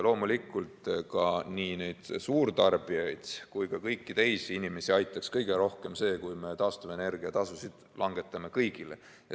Loomulikult, nii suurtarbijaid kui ka kõiki teisi inimesi aitaks kõige rohkem see, kui me taastuvenergia tasusid langetaksime kõigil.